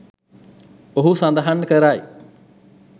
ඔහු සඳහන් කරයි